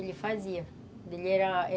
Ele fazia. Ele era